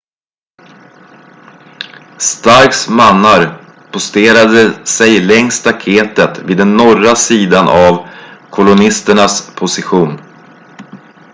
starks mannar posterade sig längs staketet vid den norra sidan av kolonisternas position